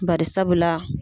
Bari sabula.